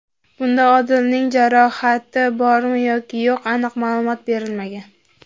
Bunda Odilning jarohati bormi yoki yo‘q aniq ma’lumot berilmagan.